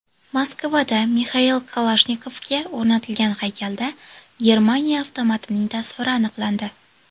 Moskvada Mixail Kalashnikovga o‘rnatilgan haykalda Germaniya avtomatining tasviri aniqlandi.